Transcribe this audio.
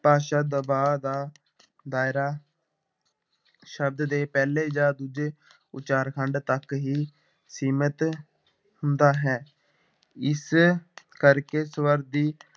ਭਾਸ਼ਾ ਦਬਾਅ ਦਾ ਦਾਇਰਾ ਸ਼ਬਦ ਦੇ ਪਹਿਲੇ ਜਾਂ ਦੂਜੇ ਉਚਾਰਖੰਡ ਤੱਕ ਹੀ ਸੀਮਿਤ ਹੁੰਦਾ ਹੈ, ਇਸ ਕਰਕੇ ਸਵਰ ਦੀ